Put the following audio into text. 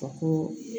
Ka ko